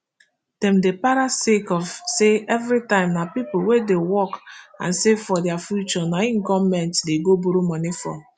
dem dey para sake of say evritime na pipo wey dey work and save for dia future na im goment dey go borrow money from